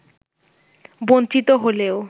বঞ্চিত হলেও